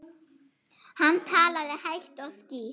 Hann talaði hægt og skýrt.